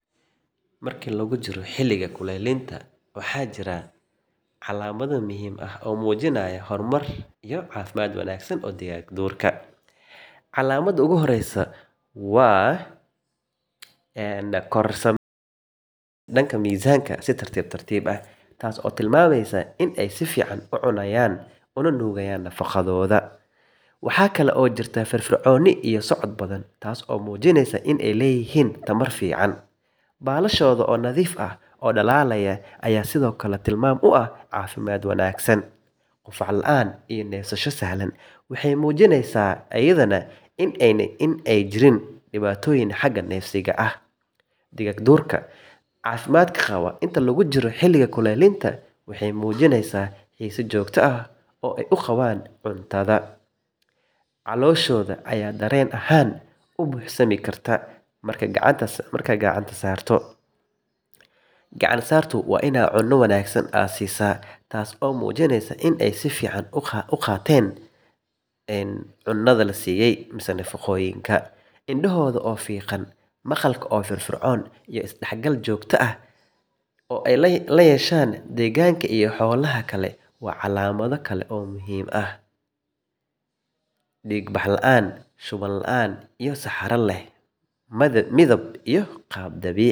Marka lagu jiro xilliga kulaylinta, waxaa jira calaamado muhiim ah oo muujinaya horumar iyo caafimaad wanaagsan oo digaagduurka. Calaamada ugu horreysa waa kororka miisaanka si tartiib tartiib ah, taas oo tilmaamaysa in ay si fiican u cunayaan una nuugayaan nafaqada. Waxa kale oo jirta firfircooni iyo socod badan, taas oo muujinaysa in ay leeyihiin tamar fiican. Baalashooda oo nadiif ah oo dhalaalaya ayaa sidoo kale tilmaam u ah caafimaad wanaagsan. Qufac la’aan iyo neefsasho sahlan waxay muujinayaan in aanay jirin dhibaatooyin xagga neefsiga ah. Digaagduurka caafimaadka qaba inta lagu jiro xilliga kulaylinta waxay muujiyaan xiise joogto ah oo ay u qabaan cuntada, waxayna cuntaan si habaysan. Calooshooda ayaa dareen ahaan u buuxsami karta markaad gacanta saarto, taasoo muujinaysa in ay si fiican u qaateen quudin. Indhahooda oo fiiqan, maqalka oo firfircoon, iyo isdhexgal joogto ah oo ay la yeeshaan deegaanka iyo xoolaha kale waa calaamado kale oo muhiim ah. Dhiig bax la’aan, shuban la’aan, iyo saxaro leh midab iyo qaab dabiici ah ayaa ka mid ah tilmaamaha aad ka garan karto caafimaadkooda. Marka laga wada fiirsado dhammaan calaamadahan, waxaad si sahlan ku ogaan kartaa in digaagduurku uu si wanaagsan u horumarinayo xilliga kulaylinta.